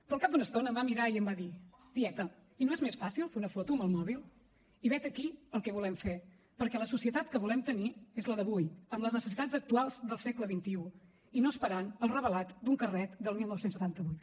però al cap d’una estona em va mirar i em va dir tieta i no és més fàcil fer una foto amb el mòbil i vet aquí el que volem fer perquè la societat que volem tenir és la d’avui amb les necessitats actuals del segle xxi i no esperant el revelat d’un carret del dinou setanta vuit